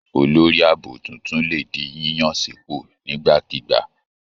Olórí ààbò tuntun lè di yíyàn sípò nígbàkigbà.